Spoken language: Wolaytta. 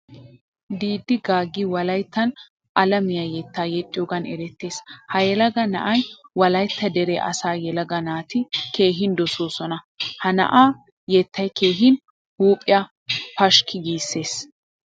Diidi gaagi wolayttan alaamiyaa yetta yexxiyogan erettees. Ha yelaga na'aa wolaytta dere asaa yelaga naati keehin dososona. Ha na'aa yettay keehin huphphiyaa pashkii giisees.